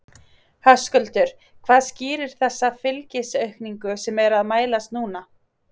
Höskuldur: Hvað skýrir þessa fylgisaukningu sem er að mælast núna?